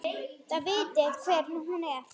Þið vitið hver hún er!